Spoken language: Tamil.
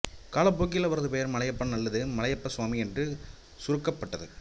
காலப்போக்கில் அவரது பெயர் மலையப்பன் அல்லது மலையப்ப சுவாமி என்று சுருக்கப்பட்டது